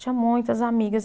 Tinha muitas amigas.